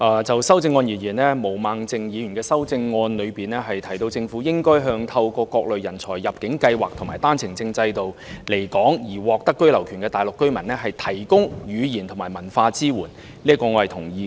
就修正案而言，毛孟靜議員的修正案提到政府應向透過各類人才入境計劃及單程證制度來港而獲得居留權的大陸居民，提供語言及文化支援，這一點我是同意的。